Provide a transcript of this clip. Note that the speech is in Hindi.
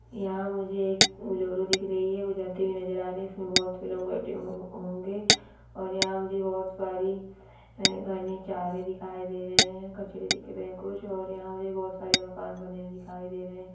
यहाँ मुझे एक बुलोरू दिख रही है जाते हुए नजर आ रही है उसमे बहोत से लोग बेठे हों होंगे और यहाँ मुझे बहोत सारी घनी चारे दिखाई दे रहे है कचरे दिखाई दे रहे है कुछ और बहोत सारे मकान बने दिखाई दे रहे है।